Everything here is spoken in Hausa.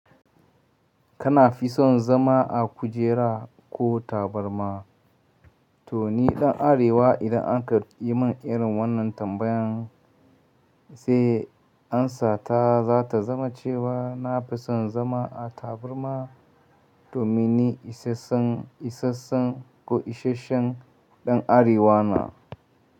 Kana fi son zama a kujera ko tabarma? To ni ɗan Arewa idan aka yi min irin wannan tambayan sai ansa ta za ta zama cewa na fi son zama a tabarma domin ni isassan, isassan ko isashshen ɗan Arewa na.